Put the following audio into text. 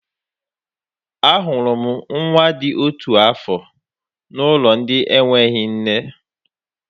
Ahụrụ m nwa dị otu afọ n'ụlọ ndị enweghị nne.